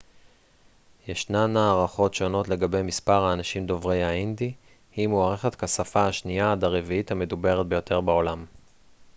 ישנן הערכות שונות לגבי מספר האנשים דוברי ההינדי היא מוערכת כשפה השנייה עד הרביעית המדוברת ביותר בעולם